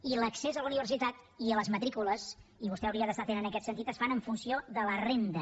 i l’accés a la uni versitat i a les matrícules i vostè hauria d’estar atent en aquest sentit es fan en funció de la renda